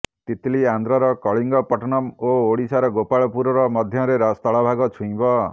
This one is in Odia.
ତିତ୍ଲି ଆନ୍ଧ୍ରର କଳିଙ୍ଗପଟନମ୍ ଓ ଓଡ଼ିଶାର ଗୋପାଳପୁର ମଧ୍ୟରେ ସ୍ଥଳପଥ ଛୁଇଁବ